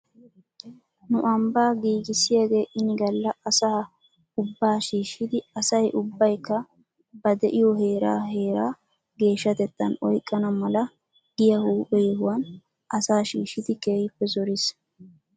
Nu ambaa ayssiyaagee ini galla asaa ubbaa shiishidi asay ubbaykka ba de'iyoo heeraa heera geeshshatettan oyqqana mala giyaa huuphe yohuwan asaa shiishshidi keehippe zoris.